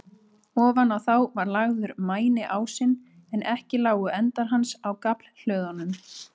Ofan á þá var lagður mæniásinn, en ekki lágu endar hans á gaflhlöðunum.